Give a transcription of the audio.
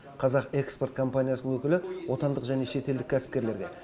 қазақ экспорт компаниясының өкілі отандық және шетелдік кәсіпкерлерге